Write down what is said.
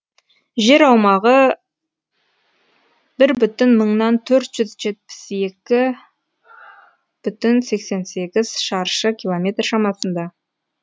жер аумағы бір миллион мыңнан төрт жүз жетпіс екі бүтін сексен сегіз шаршы километр шамасында